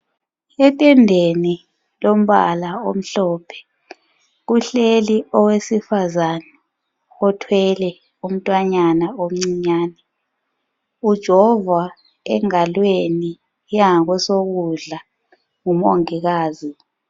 Etendeni lombala omhlophe kuhleli owesifazana othwele umntwanyana omncinyane ujovwa engalweni yangakwesokudla ngumongikazi.